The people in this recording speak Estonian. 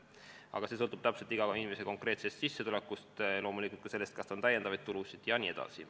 Aga see sõltub inimese sissetulekust, loomulikult ka sellest, kas tal on lisatulusid jne.